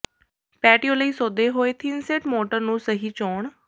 patio ਲਈ ਸੋਧੇ ਹੋਏ ਥਿਨਸੇਟ ਮੋਟਰ ਨੂੰ ਸਹੀ ਚੋਣ